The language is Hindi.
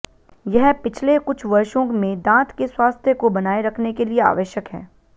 यह पिछले कुछ वर्षों में दांत के स्वास्थ्य को बनाए रखने के लिए आवश्यक है